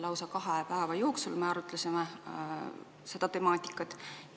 Lausa kahe päeva jooksul me arutasime seda temaatikat.